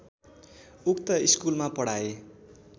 उक्त स्कुलमा पढाए